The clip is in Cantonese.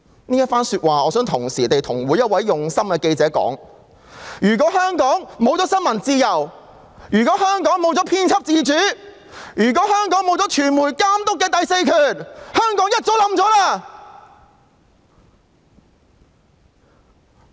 我想向每一位用心的記者說：假如香港沒有新聞自由，假如香港沒有編輯自主，假如香港沒有傳媒監督的第四權，香港便早已淪陷了！